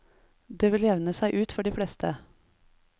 Det vil jevne seg ut for de fleste.